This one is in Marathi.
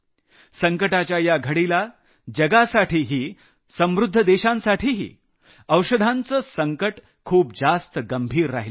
संकटाच्या या घडीला जगासाठीही समृद्ध देशांसाठीही औषधांचं संकट खूप जास्त गंभीर राहिलं आहे